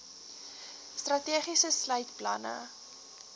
strategie sluit planne